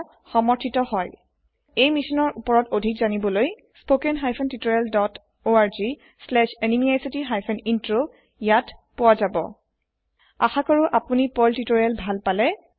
অধিক জানকাৰি বাবে এই মিসসন থৈতে জৰিত পোৱা যাব spoken hyphen tutorial dot org slash এনএমইআইচিত আসা কৰো আপুনি পাৰ্ল তিওতৰিয়েল ভাল পালে